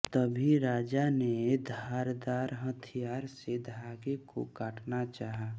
तभी राजा ने धारदार हथियार से धागे को काटना चाहा